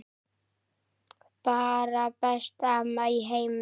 Bara besta amma í heimi.